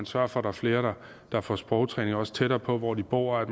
sørge for at flere får sprogtræning også tættere på hvor de bor